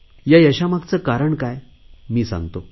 या यशामागचे कारण काय मी सांगतो